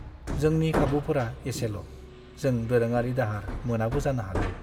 जोंनि खाबुफोरा एसेल'! जों दोरोङारि दाहार मोनाबो जानो हागौ।